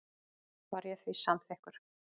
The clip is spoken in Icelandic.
Var ég því samþykkur.